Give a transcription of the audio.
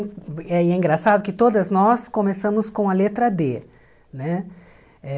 E é engraçado que todas nós começamos com a letra dê, né? Eh